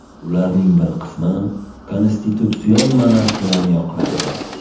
Ularning bir qismi konstitutsion monarxiyani yoqlardi.